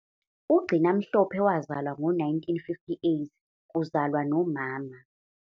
UGcina Mhlope wazalwa ngo-1958 ] kuzalwa ] nomama ].